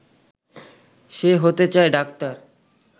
সে হতে চায় ডাক্তার